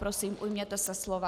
Prosím, ujměte se slova.